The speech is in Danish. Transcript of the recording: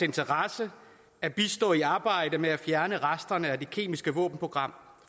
interesse at bistå i arbejdet med at fjerne resterne af det kemiske våbenprogram